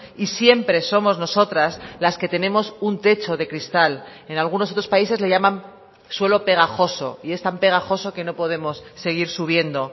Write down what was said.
y siempre somos nosotras las que tenemos un techo de cristal en algunos otros países le llaman suelo pegajoso y es tan pegajoso que no podemos seguir subiendo